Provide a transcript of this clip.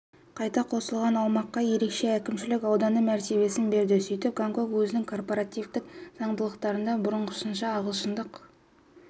қайта қосылған аумаққа ерекше әкімшілік ауданы мәртебесін берді сөйтіп гонконг өзінің корпоративтік заңдылықтарында бұрынғысынша ағылшындық